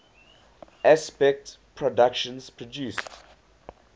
aspect productions produced